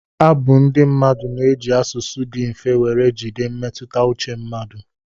Abu ndị mmadụ na-eji asụsụ dị mfe were jide mmetụta uche mmadụ.